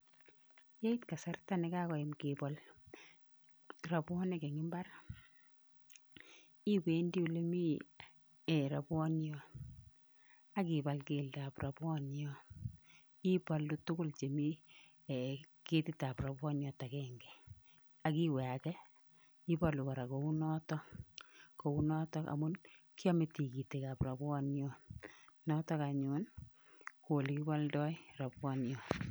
Yeit kasarta nekoyam kebol ropwonik en mbar iwendi olemii eeh ropwoniot akibal keldab ropwoniot ibolu tugul chemi ketitab ropwoniot agange, akiwe ake, ibolu kora kou noto, kou notok amun kyome tikitikab ropwoniot notok anyun koo olekiboldoi ropwoniot.